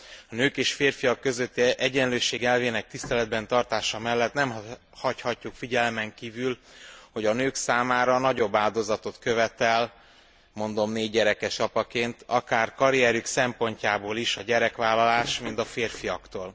A nők és férfiak közötti egyenlőség elvének tiszteletben tartása mellett nem hagyhatjuk figyelmen kívül, hogy a nőktől nagyobb áldozatot követel mondom négygyerekes apaként akár karrierjük szempontjából is a gyerekvállalás, mint a férfiaktól.